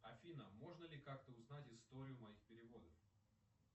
афина можно ли как то узнать историю моих переводов